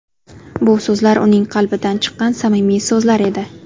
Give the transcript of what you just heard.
Bu so‘zlar uning qalbidan chiqqan samimiy so‘zlar edi.